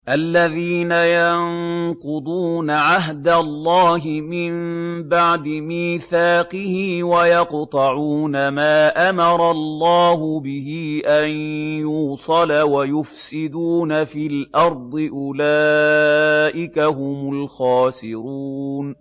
الَّذِينَ يَنقُضُونَ عَهْدَ اللَّهِ مِن بَعْدِ مِيثَاقِهِ وَيَقْطَعُونَ مَا أَمَرَ اللَّهُ بِهِ أَن يُوصَلَ وَيُفْسِدُونَ فِي الْأَرْضِ ۚ أُولَٰئِكَ هُمُ الْخَاسِرُونَ